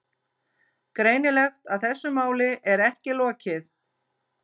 Greinilegt að þessu máli er ekki lokið.